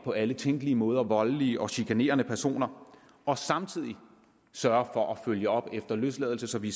på alle tænkelige måder voldelige og chikanerende personer og samtidig sørge for at følge op efter løsladelse så vi